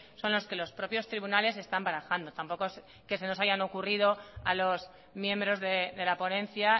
son los que los propios tribunales están barajando tampoco es que se nos hayan ocurrido a los miembros de la ponencia